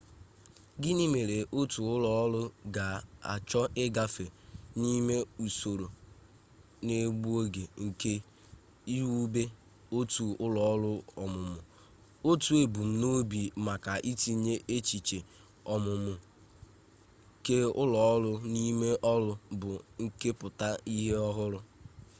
gịnị mere otu ụlọọrụ ga-achọ ịgafe n'ime usoro na-egbu oge nke iwube otu ụlọọrụ ọmụmụ otu ebumnobi maka itinye echiche ọmụmụ keụlọọrụ n'ime ọrụ bụ nkepụta ihe ọhụrụ